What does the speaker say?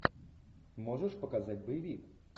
можешь показать боевик